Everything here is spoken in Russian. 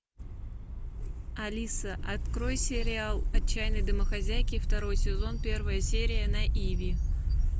алиса открой сериал отчаянные домохозяйки второй сезон первая серия на иви